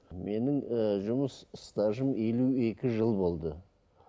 менің ііі жұмыс стажым елу екі жыл болды